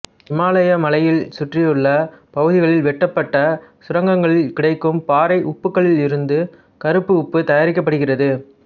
இமயமலையைச் சுற்றியுள்ள பகுதிகளில் வெட்டப்பட்ட சுரங்கங்களில் கிடைக்கும் பாறை உப்புகளிலிருந்து கருப்பு உப்பு தயாரிக்கப்படுகிறது